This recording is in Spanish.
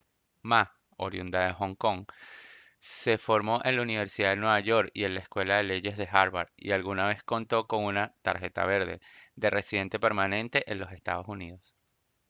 ma oriunda de hong kong se formó en la universidad de nueva york y en la escuela de leyes de harvard y alguna vez contó con una «tarjeta verde» de residente permanente en los estados unidos